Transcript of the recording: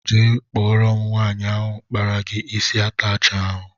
Jee kpọrọ m nwaanyị ahụ kpara gị isi atachi ahụ!!!!